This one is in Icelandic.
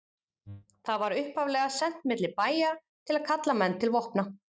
það var upphaflega sent milli bæja til að kalla menn til vopna